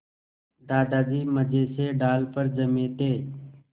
दादाजी मज़े से डाल पर जमे थे